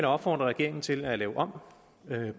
opfordre regeringen til at lave om